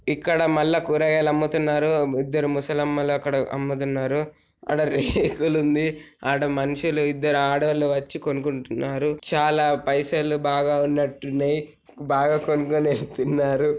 ఇక్కడ మల్ల కూరగాయలు అముతున్నారు. ఇద్దరు ముసలి అమ్మలు అక్కడ అముతున్నారు. అడా రేకులు ఉంది. అడా మనుషులు ఇద్దరు ఆడవాళ్లు వచ్చి కొనుకుంటున్నారు. చాలా పైసలు బాగా ఉన్నట్టు ఉన్నాయి. బాగా కొనుకొని వెళ్తున్నారు.